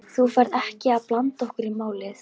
Þú ferð ekkert að blanda okkur í málið?